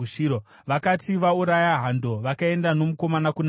Vakati vauraya hando, vakaenda nomukomana kuna Eri,